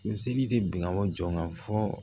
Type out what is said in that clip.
seli tɛ binw jɔ fɔ